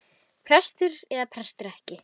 Prestur eða prestur ekki.